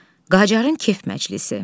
Qacarın kef məclisi.